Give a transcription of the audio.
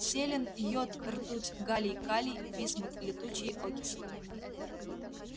селен йод ртуть галлий калий висмут летучие окислы